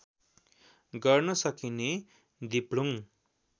गर्न सकिने दिप्लुङ